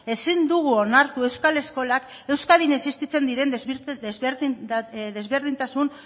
ezin dugu onartu euskal eskolak euskadin existitzen diren desberdintasun